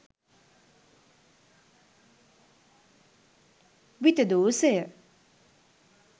විතදෝසය